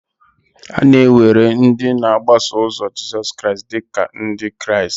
A na-ewere ndị na-agbaso ụzo Jizọs Kraịst dị ka Ndị Kraịst.